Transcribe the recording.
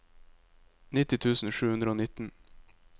nitti tusen sju hundre og nitten